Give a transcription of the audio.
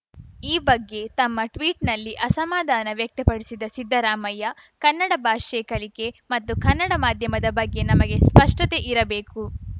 ಈ ಬಗ್ಗೆ ತಮ್ಮ ಟ್ವೀಟ್‌ನಲ್ಲಿ ಅಸಮಾಧಾನ ವ್ಯಕ್ತಪಡಿಸಿದ್ದ ಸಿದ್ದರಾಮಯ್ಯ ಕನ್ನಡ ಭಾಷೆ ಕಲಿಕೆ ಮತ್ತು ಕನ್ನಡ ಮಾಧ್ಯಮದ ಬಗ್ಗೆ ನಮಗೆ ಸ್ಪಷ್ಟತೆ ಇರಬೇಕು